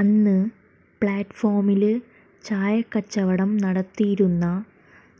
അന്ന് പ്ലാറ്റ്ഫോമില് ചായക്കച്ചവടം നടത്തിയിരുന്ന